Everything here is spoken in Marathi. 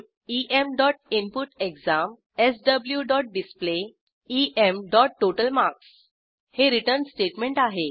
swinput eminput exam swdisplay emtotal marks हे रिटर्न स्टेटमेंट आहे